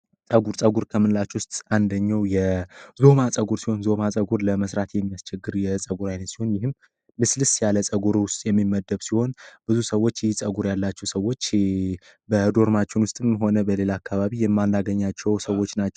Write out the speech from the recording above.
ጸጉር ከምንላች ውስጥ አንደኛው የዞማ ጸጉር ሲሆን ዞማ ጸጉር ለመሥራት የሚያስቸግር የጸጉር ዓይነት ሲሆን ይህም ልስልስ ያለ ጸጉር ውስጥ የሚመደብ ሲሆን ብዙ ሰዎች ይህ ጸጉር ያላቸው ሰዎች በዶርማችውን ውስጥም ሆነ በሌለ አካባቢ የማንገኛቸው ሰዎች ናቸው።